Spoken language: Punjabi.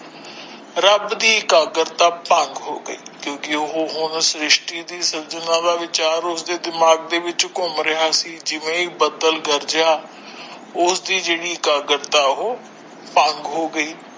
ਰੱਬ ਦੀ ਇਕਾਗਰਤਾ ਭੰਗ ਹੋ ਗਈ ਕਿਉਂਕਿ ਉਹ ਹੁਣ ਸ਼੍ਰਿਸ਼ਟੀ ਦੀ ਸੰਜਨਾ ਦਾ ਵਿਚਾਰ ਉਸਦੇ ਦਿਮਾਗ ਵਿੱਚ ਘੁੰਮ ਰਹਿਆ ਸੀ ਜਿਵੇ ਹੀ ਬੱਦਲ ਗਰਜਿਆ ਉਸਦੀ ਜਿਹੜੀ ਇਕਾਗਰਤਾ ਉਹ ਭੰਗ ਹੋ ਗਈ।